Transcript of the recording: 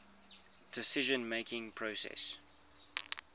decision making process